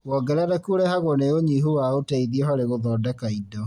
Wongerereku ũrehagwo nĩ ũnyihu wa ũteithio harĩ gũthondeka indo